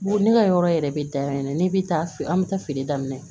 Ne ka yɔrɔ yɛrɛ bɛ dayɛlɛ ne bɛ taa feere an bɛ taa feere daminɛ